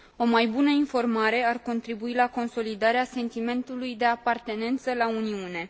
O mai bună informare ar contribui la consolidarea sentimentului de apartenență la Uniune.